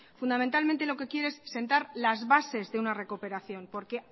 fundamentalmente lo que quiere es sentar las bases de una recuperación porque